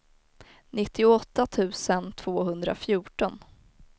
nittioåtta tusen tvåhundrafjorton